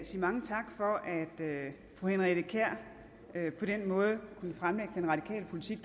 sige mange tak for at fru henriette kjær på den måde kunne fremlægge den radikale politik